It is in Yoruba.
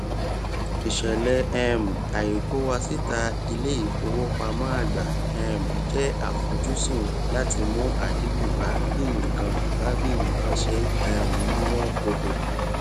ìṣẹlẹ um àìkówósíta iléìfowópamọ àgbà um jẹ àfojúsùn láti mú àdínkù bá bí nǹkan bá bí nǹkan ṣe um ń wọn gógó